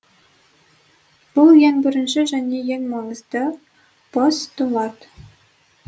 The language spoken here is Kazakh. бұл ең бірінші және ең маңызды постулат